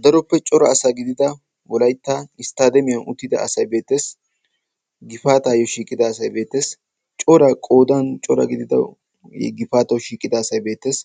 Daroppe cora asa gidida wolaytta isttademiyan uttida asay beettees. gifaatayyo shiiqida asay beettees, cora qoodan cora gidida asay gifaataw shiiqida asay beettes.